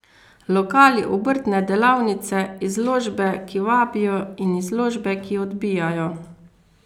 Lokali, obrtne delavnice, izložbe, ki vabijo in izložbe, ki odbijajo.